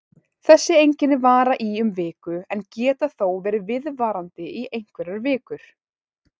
Þessi einkenni vara í um viku en geta þó verið viðvarandi í einhverjar vikur.